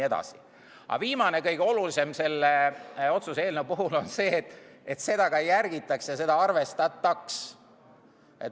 Aga viimane, kõige olulisem selle otsuse eelnõu puhul on see, et seda ka järgitaks ja seda arvestataks.